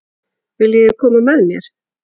Viljiði koma með mér?